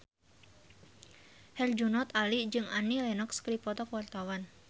Herjunot Ali jeung Annie Lenox keur dipoto ku wartawan